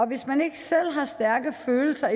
hvis man ikke selv har stærke følelser